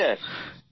হ্যাঁ স্যার